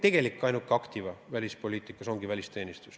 Meie ainus aktiva välispoliitikas ongi välisteenistus.